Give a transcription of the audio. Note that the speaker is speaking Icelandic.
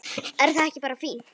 Er það ekki bara fínt?